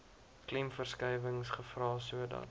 klemverskuiwings gevra sodat